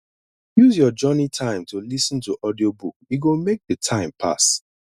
use your journey time to lis ten to audiobook e go make the time pass